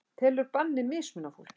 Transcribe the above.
Telur bannið mismuna fólki